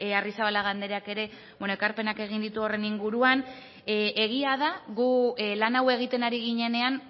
arrizabalaga andreak ere ekarpenak egin ditu horren inguruan egia da gu lan hau egiten ari ginenean